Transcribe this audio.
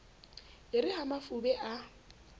e re ha mafube a